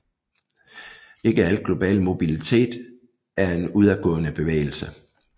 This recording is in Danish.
Ikke al global mobilitet er en udadgående bevægelse